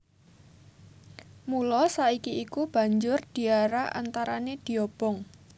Mula saka iku banjur diarak antarané diobong